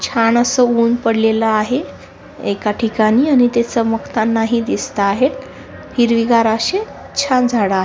छान अस उन पडलेलं आहे एका ठिकाणी आणि ते चमकताना हि दिसत आहे हिरवी गार अशे छान झाड आ--